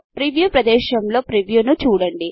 preview ప్రదేశములొ ప్రీవ్యూను చూడండి